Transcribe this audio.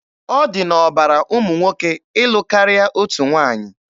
Ọ dị n'ọbara ụmụ nwoke ịlụ karịa otu nwaanyị.